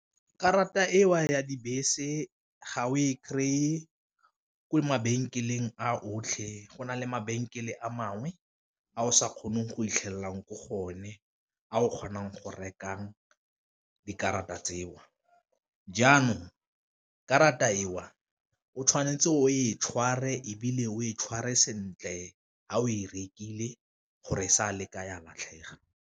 Karata eo ya dibese ga o e kry-e ko mabenkeleng a otlhe go na le mabenkele a mangwe a o sa kgoneng go itlhelelang ko go o ne a o kgonang go rekang dikarata tseo, jaanong karata e o o tshwanetse o e tshware ebile o e tshware sentle ga o e rekile gore sa le ka ya latlhega.